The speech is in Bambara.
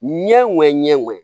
Ɲɛ ŋɛɲɛ ɲɛ ŋɛɲɛ